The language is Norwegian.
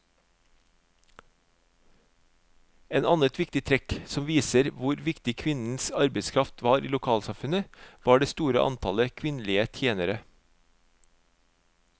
Et annet trekk som viser hvor viktig kvinnenes arbeidskraft var i lokalsamfunnet, var det store antallet kvinnelige tjenere.